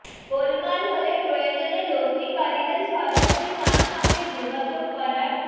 গোলমাল হলে প্রয়োজনে লগ্নিকারীদের সরাসরি তাঁর সঙ্গে যোগাযোগ করার